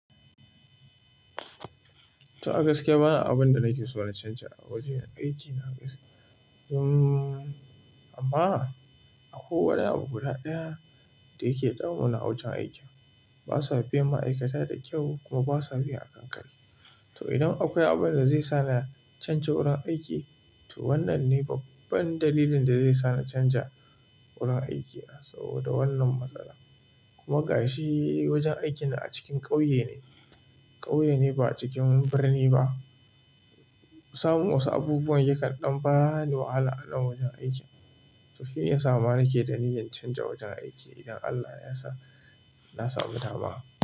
To a gaskiya ba abin da nake so na canja a wajen aikin na gaskiya. Amma akwai wani abu guda ɗaya da yake damu na a wajen aikin. Ba su biyan ma'aikata da kyau kuma ba su biya a kankari. To idan akwai abin da zai sa na canja wurin aiki, to wannan ne babban dalilin da zai sa na canja wurin aiki na saboda wannan matsala. Kuma ga shi wajen aikin na a cikin ƙauye ne, ƙauye ne ba a cikin birni ba. Samun wasu abubuwan yakan dan bani wahala, a nan wajen aikin to shi ne ya sa ma nake da niyyar canja wajen aiki idan Allah ya sa na samu dama.